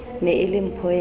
ne e le mpho ya